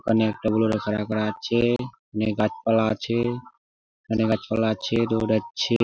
অনেক আছে অনেক গাছপালা আছে | অনেক গাছপালা আছে দৌড়াচ্ছে ।